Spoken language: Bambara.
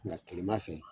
Nka kilema fɛ